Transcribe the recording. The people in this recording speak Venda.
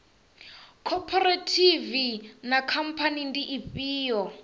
khophorethivi na khamphani ndi ifhio